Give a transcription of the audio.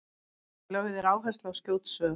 lögð er áhersla á skjót svör